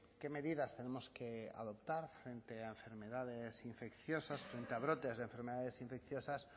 qué medidas tenemos que adoptar frente a enfermedades infecciosas frente a brotes de enfermedades infecciosas